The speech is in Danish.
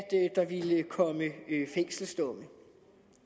der ville komme fængselsdomme